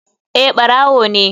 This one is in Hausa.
Eh barawo ne.